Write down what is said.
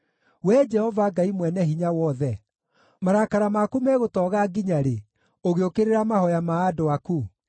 Wee Jehova Ngai mwene hinya wothe, marakara maku megũtooga nginya rĩ ũgĩũkĩrĩra mahooya ma andũ aku?